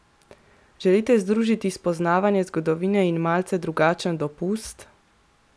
Želite združiti spoznavanje zgodovine in malce drugačen dopust?